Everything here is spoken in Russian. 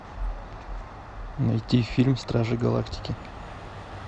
найти фильм стражи галактики